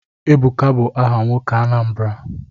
Ebuka bụ aha nwoke Anambra.